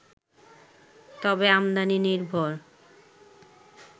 তবে আমদানি নির্ভর